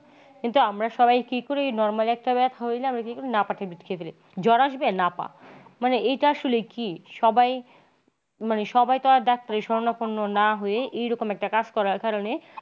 কিন্তু আমরা সবাই কি করি normal একটা ব্যাথা হইলে আমরা কি করি নাপা খেয়ে ফেলি। জোর আসবে নাপা মানে এটা আসলে কি সবাই মানে সবাই তার doctor শরণাপন্ন না হয়ে এইরকম একটা কাজ করার কারণে।